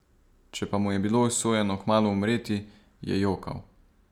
Če pa mu je bilo usojeno kmalu umreti, je jokal.